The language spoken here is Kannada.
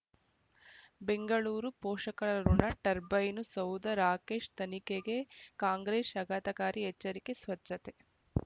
ಬೆಂಗಳೂರು ಪೋಷಕರಋಣ ಟರ್ಬೈನು ಸೌಧ ರಾಕೇಶ್ ತನಿಖೆಗೆ ಕಾಂಗ್ರೆಸ್ ಅಗಾತಕಾರಿ ಎಚ್ಚರಿಕೆ ಸ್ವಚ್ಛತೆ